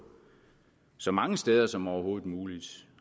så mange steder som overhovedet muligt